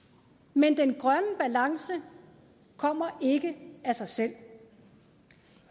men den grønne balance kommer ikke af sig selv